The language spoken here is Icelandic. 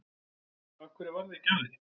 Af hverju varð ekki af því?